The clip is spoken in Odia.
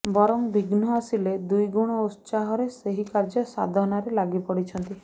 ବରଂ ବିଘ୍ନ ଆସିଲେ ଦ୍ୱିଗୁଣ ଉତ୍ସାହରେ ସେହିକାର୍ଯ୍ୟ ସାଧନାରେ ଲାଗିପଡ଼ିଛନ୍ତି